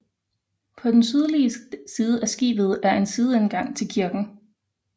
På den sydlige side af skibet er en sideindgang til kirken